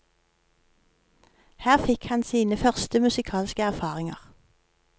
Her fikk han sine første musikalske erfaringer.